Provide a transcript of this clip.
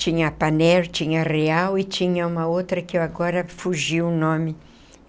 Tinha a Panair, tinha a Real e tinha uma outra que eu agora fugiu o nome.